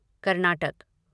Karnataka